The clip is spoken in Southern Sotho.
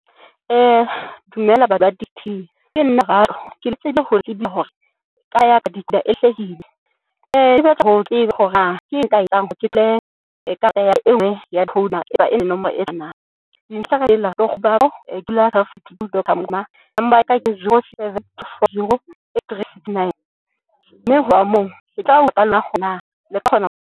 Dumela number ya ka ke zero, seven, two, four, zero, three, sixty, nine, mme ho ya moo le ka kgona ho.